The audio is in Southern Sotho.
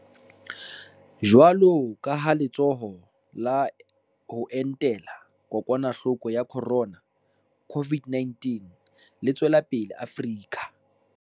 Jwalo ka ha Le tsholo la ho Entela Kokwanahloko ya Khorona, COVID-19, le tswela pele Afrika